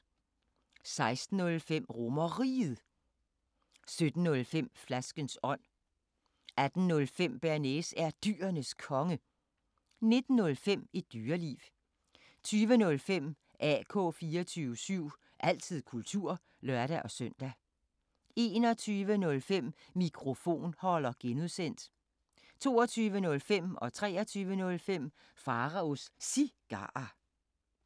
16:05: RomerRiget 17:05: Flaskens ånd 18:05: Bearnaise er Dyrenes Konge 19:05: Et Dyreliv 20:05: AK 24syv – altid kultur (lør-søn) 21:05: Mikrofonholder (G) 22:05: Pharaos Cigarer 23:05: Pharaos Cigarer